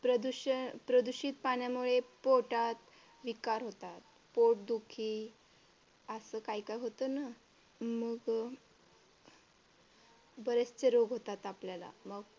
प्रदूषित पाण्यामुळे पोटात विकार होतात. पोटदुखी असं काही काही होतं ना मग बरेचसे रोग होतात आपल्याला मग.